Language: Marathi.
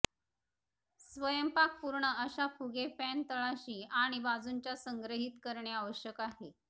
स्वयंपाक संपूर्ण अशा फुगे पॅन तळाशी आणि बाजूंच्या संग्रहित करणे आवश्यक आहे